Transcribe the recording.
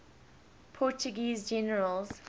portuguese generals